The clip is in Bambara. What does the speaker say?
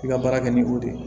I ka baara kɛ ni o de ye